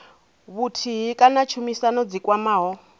vhuthihi kana tshumisano dzi kwamaho